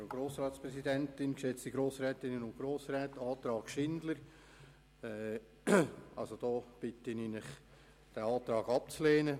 Ich bitte Sie, den Antrag von Grossrätin Schindler abzulehnen.